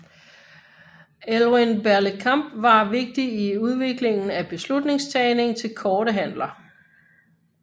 Elwyn Berlekamp var vigtig i udviklingen af beslutningstagning til korte handler